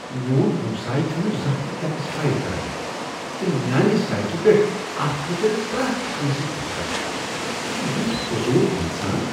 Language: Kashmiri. میون ہمساے چُھنہٕ زانٛہہ تہِ ٹیکس فایل کران تہٕ میانہِ سڑکہ پیٹھ اتھ مُتعلق پریٚتھ كٲنسہِ تھیكان۔ سُہ چُھ یُتھ فضول انسان۔